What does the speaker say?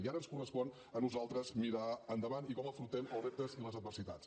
i ara ens correspon a nosaltres mirar endavant i com afrontem els reptes i les adversitats